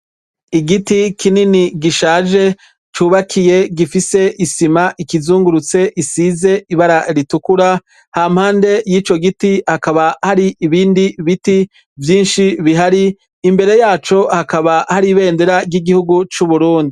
Igiti kinini gishaje cubakiye gifise isima ikizungurutse isize ibara ritukura hampande yico giti hakaba hari ibindi biti vyinshi bihari, imbere yaco hakaba hari ibendera ry’igihugu c’uburundi.